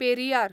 Periyar